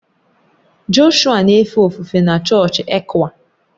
Joshua na-efe ofufe na chọọchị ECWA